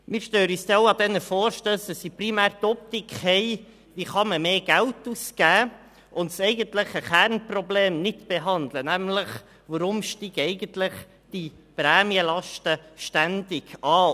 Wir stören uns bei diesen Vorstössen auch daran, dass sie primär die Optik haben, wie man mehr Geld ausgeben kann und das eigentliche Kernproblem nicht behandeln, nämlich: Weshalb steigen eigentlich die Prämienlasten ständig an?